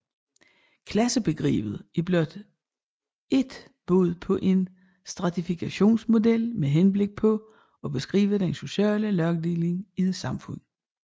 Klassebegrebet er blot ét bud på en stratifikationsmodel med henblik på at beskrive den sociale lagdeling i et samfund